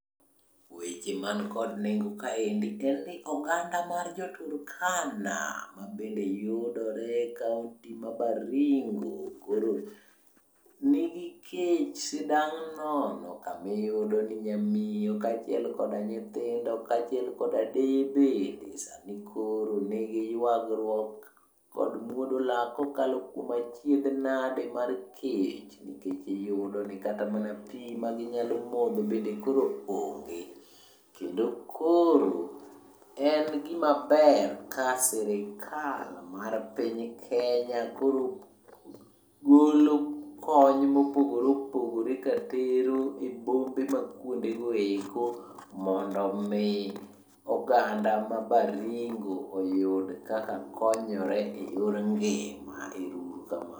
Weche mankod nengo kaendi en ni oganda jo Turkana mabe yudore e kaonti ma Baringo koro nigi kech sidang' nono. Kamiyudo ni nyamiyo kaachiel koda nyithindo, kaachiel kod deye bende sani koro nigi ywagruok kod muodo lak kokalo kuom achiedhnade mar kech. Nikech iyudo ni kata mana pi ma ginyalo modho bende koro onge. Kendo koro en gima ber ka sirikal mar piny Kenya koro golo kony mopogore opogore katero e bombe ma kuondegoeko mondo mi oganda ma Baringo oyud kaka konyore e yor ngima. Ero uru kamano.